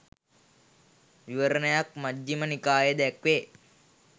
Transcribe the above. විවරණයක් මජ්ඣිම නිකායේ දැක්වේ.